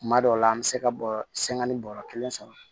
Kuma dɔw la an bɛ se ka bɔɔrɔ bɔrɔ kelen sɔrɔ